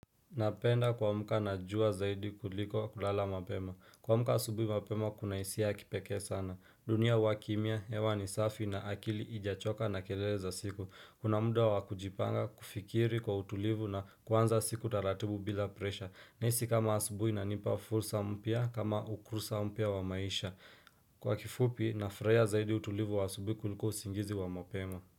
Napenda kwamuka na jua zaidi kuliko kulala mapema. Kwamuka asubui mapema kuna isia ya kipeke sana. Dunia huwa kimia hewa ni safi na akili ijachoka na kelele za siku. Kuna muda wakujipanga kufikiri kwa utulivu na kwanza siku taratibu bila presha. Nahisi kama asubui inanipa fursa mpia kama ukursa mpia wa maisha. Kwa kifupi nafreya zaidi utulivu wa asubui kuliko usingizi wa mapema.